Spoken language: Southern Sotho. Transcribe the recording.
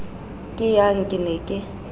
ke yang ke ne ke